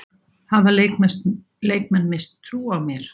Hafa leikmenn misst trú á mér?